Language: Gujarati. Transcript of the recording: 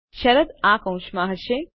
શરત આ કૌંસમાં હશે